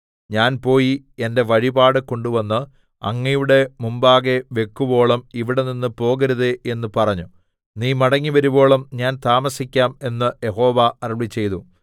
ഞാൻ പോയി എന്റെ വഴിപാട് കൊണ്ടുവന്ന് അങ്ങയുടെ മുമ്പാകെ വെക്കുവോളം ഇവിടെനിന്ന് പോകരുതേ എന്ന് പറഞ്ഞു നീ മടങ്ങിവരുവോളം ഞാൻ താമസിക്കാം എന്ന് യഹോവ അരുളിച്ചെയ്തു